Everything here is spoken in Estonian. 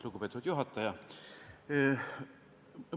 Lugupeetud juhataja!